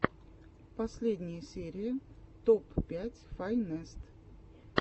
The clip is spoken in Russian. последняя серия топ пять файнест